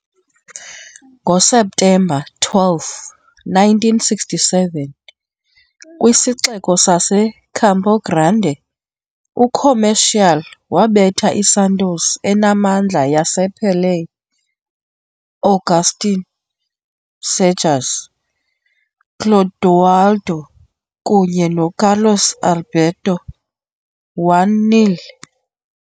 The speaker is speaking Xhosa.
NgoSeptemba 12, 1967, kwisixeko saseCampo Grande, uComercial wabetha iSantos enamandla yasePelé, Agustín Cejas, Clodoaldo kunye noCarlos Alberto 1-0.